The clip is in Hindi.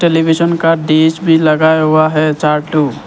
टेलीविजन का डिश भी लगा हुआ है चार ठो --